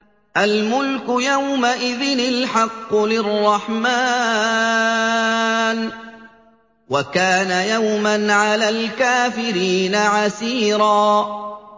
الْمُلْكُ يَوْمَئِذٍ الْحَقُّ لِلرَّحْمَٰنِ ۚ وَكَانَ يَوْمًا عَلَى الْكَافِرِينَ عَسِيرًا